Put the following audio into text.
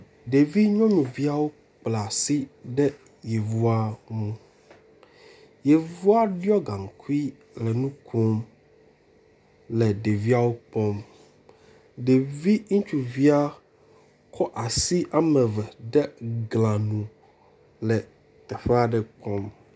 Ɖevinyɔnuviawo kpla asi ɖe yevua ŋu. Yevua ɖɔ gaŋkui le nu kom le ɖeviawo kpɔm. Ɖevi ŋutsuvia kɔ asi wome eve de gla nu le teƒe aɖe kpɔm.